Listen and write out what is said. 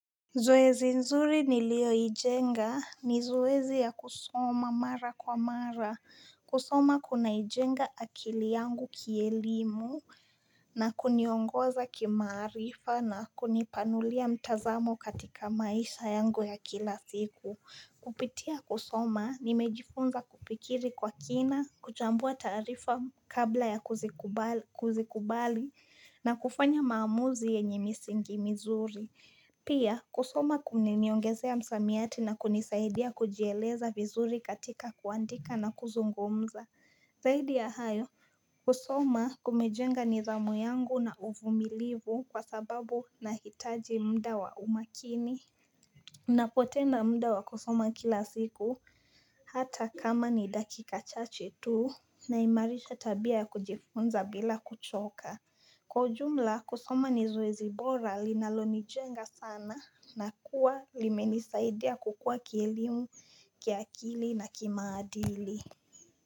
Zoezi nzuri niliyo ijenga, ni zoezi ya kusoma mara kwa mara. Kusoma kuna ijenga akili yangu kielimu na kuniongoza kimarifa na kunipanulia mtazamo katika maisha yangu ya kila siku. Kupitia kusoma nimejifunza kupikiri kwa kina, kuchambua tarifa kabla ya kuzikubali na kufanya maamuzi yenye misingi mizuri. Pia, kusoma kuniniongezea msamiyati na kunisaidia kujeleza vizuri katika kuandika na kuzungumza. Zaidi ya hayo, kusoma kumejenga nidhamu yangu na uvumilivu kwa sababu na hitaji mdawa umakini. Napotenda mda wa kusoma kila siku. Hata kama ni dakika chache tuu naimarisha tabia ya kujifunza bila kuchoka. Kwa jumla kusoma ni zoezi bora linalonijenga sana na kuwa limenisaidia kukua kielimu, kiakili na kimadili.